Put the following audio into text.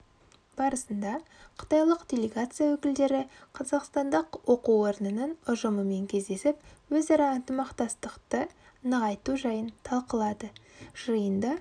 барысында қытайлық делегация өкілдері қазақстандық оқу орнының ұжымымен кездесіп өзара ынтымақтастықты нығайту жайын талқылады жиынды